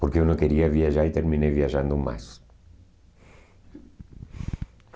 Porque eu não queria viajar e terminei viajando mais.